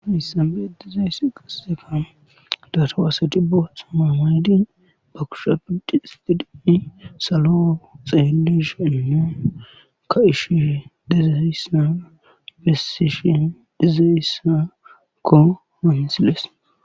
issabee diza issa qixeka daatowaaseti boothamamaydi ba kusha pindi istidii salo xeelishanno ka ishife dize issaa bessishin dize issakko mansilees